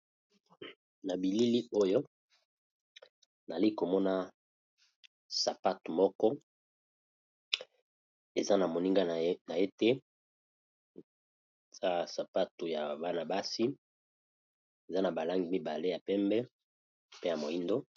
Na bilili oyo nali komona sapatu moko eza na moninga na ye te sapatu ya bana basi eza na ba langi mibale ya pembe pe ya moindo.